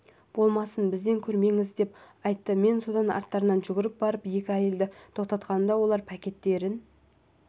болмасын бізден көрмеңіз деп айтты мен содан арттарынан жүгіріп барып екі әйелді тоқтатқанымда олар пакеттерін